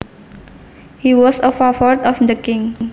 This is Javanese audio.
He was a favorite of the king